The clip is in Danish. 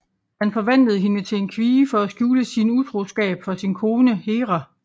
Han forvandlede hende til en kvie for at skjule sin utroskab for sin kone Hera